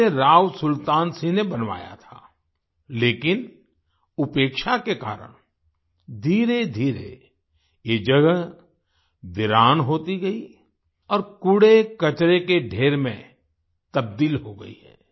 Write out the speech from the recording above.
इसे राव सुल्तान सिंह ने बनवाया था लेकिन उपेक्षा के कारण धीरेधीरे ये जगह वीरान होती गयी और कूड़ेकचरे के ढेर में तब्दील हो गयी है